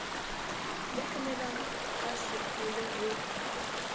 ya emellwang ka sepolo ho